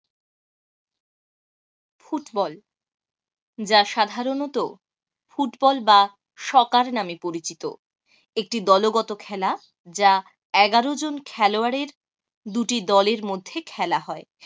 Football যা সাধারণত football বা সকার নামে পরিচিত একটি দলগত খেলা যা এগারো জন খেলোয়াড়ের দুটি দলের মধ্যে খেলা হয়।